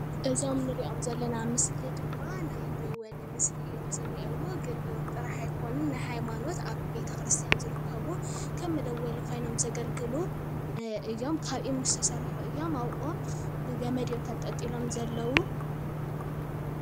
እዞም ንሪኦም ዘለና ምስሊ ድማ ናይ ደወል ምስሊ እዮም ዘለው ግን ደወል ጥራሕ ኣይኮኑን ናይ ሃይማኖት ኣብ ቤተ ክርስትያን ዝርከቡ ከም ደወል መደወሊ ኮይኖም ዘገልግሉ እዮም። ካብ እምኒ ዝተሰርሑ እዮም ኣብ ኦም ብገመድ አዮም ተንጠልጢሎም ዘለው።